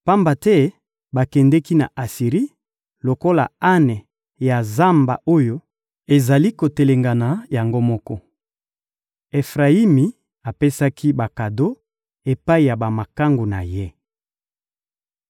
Pamba te bakendeki na Asiri lokola ane ya zamba oyo ezali kotelengana yango moko. Efrayimi apesaki bakado epai ya bamakangu na ye.